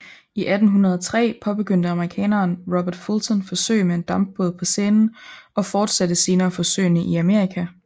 I 1803 påbegyndte amerikaneren Robert Fulton forsøg med en dampbåd på Seinen og fortsatte senere forsøgene i Amerika